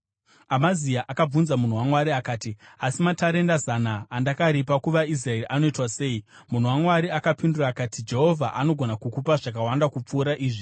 Amazia akabvunza munhu waMwari akati, “Asi, matarenda zana andakaripa kuvaIsraeri anoitwa sei?” Munhu waMwari akapindura akati, “Jehovha anogona kukupa zvakawanda kupfuura izvi.”